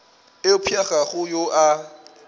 eupša ga go yo a